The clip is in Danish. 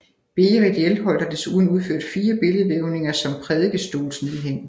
Berit Hjelholt har desuden udført fire billedvævninger som prædikestolsnedhæng